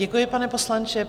Děkuji, pane poslanče.